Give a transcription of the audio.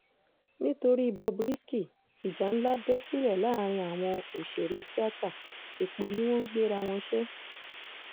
nítorí bob risky ìjà ńlá bẹ́ sílẹ̀ láàrin àwọn òṣèré tíáta èpè ni wọ́n ń gbéra wọn ṣe